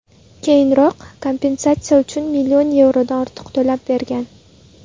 Keyinroq kompensatsiya uchun million yevrodan ortiq to‘lab bergan.